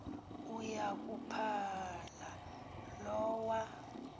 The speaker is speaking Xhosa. uya kuphala lowa